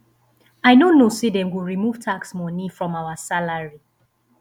i no know say dey go remove tax money from our salary